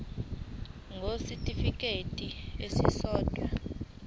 ngur kwisitifikedi esisodwa